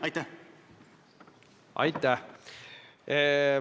Aitäh!